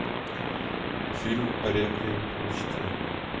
фильм реквием по мечте